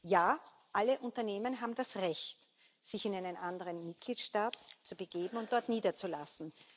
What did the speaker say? Ja, alle Unternehmen haben das Recht, sich in einen anderen Mitgliedstaat zu begeben und dort niederzulassen.